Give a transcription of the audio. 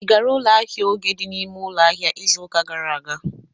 I gara ụlọ ahịa Oge dị n'ime ụlọ ahịa izu ụka gara aga.